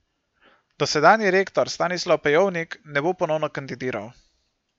Dosedanji rektor Stanislav Pejovnik ne bo ponovno kandidiral.